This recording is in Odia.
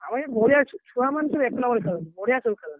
ଆମ ଏ ବଢିଆଛୁ ଛୁଆମାନେ ସବୁ ଏକ number ଛୁଆ ସବୁ ବଢିଆ ସବୁ ଖେଳନ୍ତି।